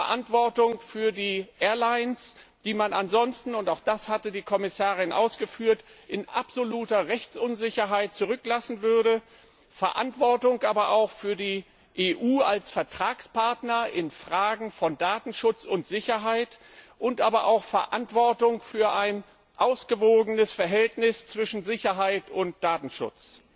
Verantwortung für die Airlines, die man ansonsten und auch das hatte die Kommissarin ausgeführt in absoluter Rechtsunsicherheit zurücklassen würde. Verantwortung auch für die EU als Vertragspartner in Fragen von Datenschutz und Sicherheit, aber auch Verantwortung für ein ausgewogenes Verhältnis zwischen Sicherheit und Datenschutz.